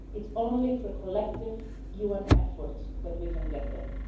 It is only through collective UN effort that we can get there.